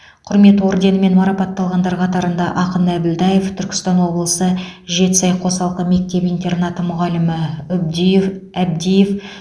құрмет орденімен марапатталғандар қатарында ақын әбділдаев түркістан облысы жетісай қосалқы мектеп интернаты мұғалімі үбдиев әбдиев